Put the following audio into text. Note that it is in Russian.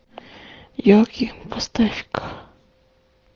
елки поставь ка